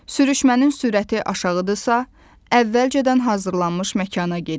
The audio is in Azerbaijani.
Sürüşmənin sürəti aşağıdırsa, əvvəlcədən hazırlanmış məkana gedin.